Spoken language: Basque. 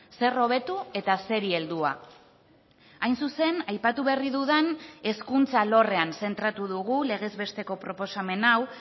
zer hobetu eta zeri heldua hain zuzen aipatu berri dudan hezkuntza alorrean zentratu dugu legez besteko proposamen hau